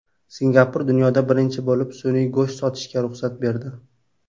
Singapur dunyoda birinchi bo‘lib sun’iy go‘sht sotishga ruxsat berdi.